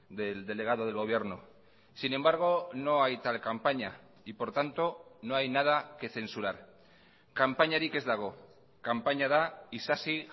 del delegado del gobierno sin embargo no hay tal campaña y por tanto no hay nada que censurar kanpainarik ez dago kanpaina da isasi